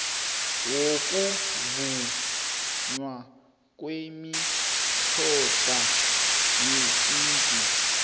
wokuvunywa kwemitjhado yesintu